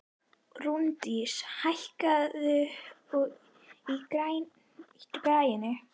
Rúndís, hækkaðu í græjunum.